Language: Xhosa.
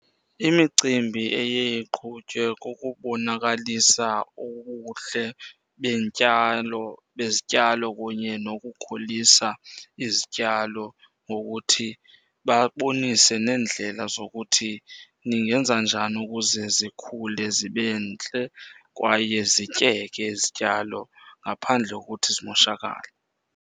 Imicimbi eye iqhutywe kukubonakalisa ubuhle bezityalo kunye nokukhulisa izityalo, ngokuthi babonise neendlela zokuthi ningenza njani ukuze zikhule zibe ntle kwaye zityeke izityalo ngaphandle kokuthi zimoshakale.